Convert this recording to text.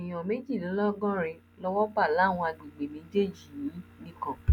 èèyàn méjìlélọgọrin lowó bá láwọn àgbègbè méjèèjì yìí nìkan